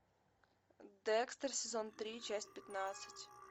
декстер сезон три часть пятнадцать